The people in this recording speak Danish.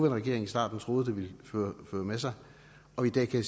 regering i starten troede at det ville føre med sig og i dag kan